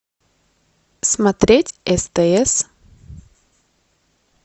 смотреть стс